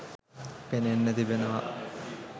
පෙනෙන්න තිබෙනව